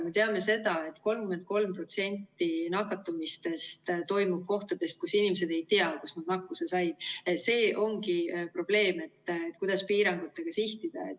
Me teame seda, et 33% nakatumistest toimub nii, et inimesed ei tea, kust kohast nad nakkuse said – see ongi probleem, et kuidas piirangutega sihtida.